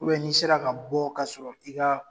n'i sera ka bɔ ka sɔrɔ i ka